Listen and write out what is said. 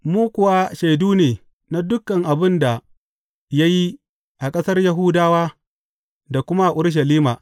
Mu kuwa shaidu ne na dukan abin da ya yi a ƙasar Yahudawa da kuma a Urushalima.